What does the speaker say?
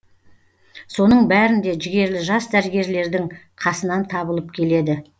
соның бәрінде жігерлі жас дәрігерлердің қасынан табылып келеді